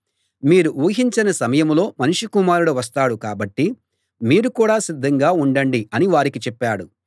మీరు ఊహించని సమయంలో మనుష్య కుమారుడు వస్తాడు కాబట్టి మీరు కూడా సిద్ధంగా ఉండండి అని వారికి చెప్పాడు